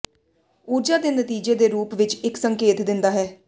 ਊਰਜਾ ਦੇ ਨਤੀਜੇ ਦੇ ਰੂਪ ਵਿੱਚ ਇੱਕ ਸੰਕੇਤ ਦਿੰਦਾ ਹੈ